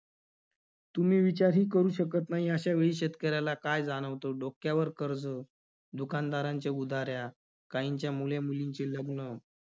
तुम्ही विचारही करू शकत नाही अश्या वेळी शेतकऱ्याला काय जाणवतं? डोक्यावर कर्ज, दुकानदारांच्या उधाऱ्या, काहींच्या मुलेमुलींची लग्न